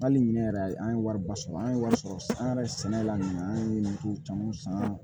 Hali ɲinɛ yɛrɛ a ye an ye wari ba sɔrɔ an ye wari sɔrɔ an yɛrɛ sɛnɛla nin ye an ye dugu caman san